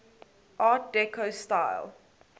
art deco style